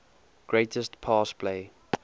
greatest pass play